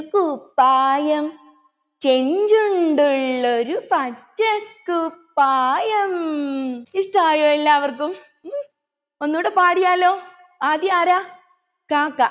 കുപ്പായം ചെഞ്ചുണ്ടുള്ളൊരു പച്ചകുപ്പായം ഇഷ്ട്ടമായോ എല്ലാവർക്കും ഉം ഒന്നൂടെ പാടിയാലോ ആദ്യം ആരാ കാക്ക